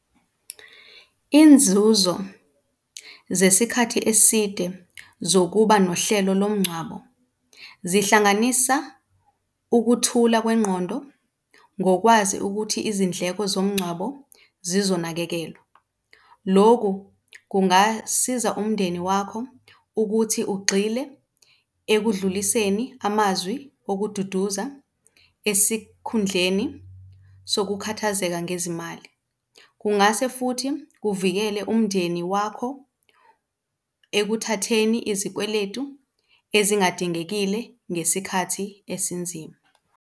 Inzuzo zesikhathi eside zokuba nohlelo lomngcwabo zihlanganisa ukuthula kwengqondo ngokwazi ukuthi izindleko zomngcwabo zizonakekelwa. Loku kungasiza umndeni wakho ukuthi ugxile ekudluliseni amazwi okududuza esikhundleni sokukhathazeka ngezimali. Kungase futhi kuvikele umndeni wakho ekuthatheni izikweletu ezingadingekile ngesikhathi esinzima.